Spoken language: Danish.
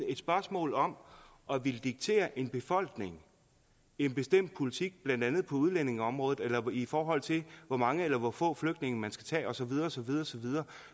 et spørgsmål om at ville diktere en befolkning en bestemt politik blandt andet på udlændingeområdet eller i forhold til hvor mange eller hvor få flygtninge man skal tage osv